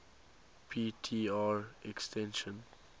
p tr extinction